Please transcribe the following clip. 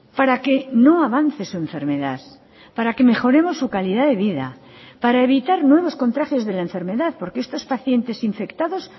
para que no avance su enfermedad para que mejoremos su calidad de vida para evitar nuevos contagios de la enfermedad porque estos pacientes infectados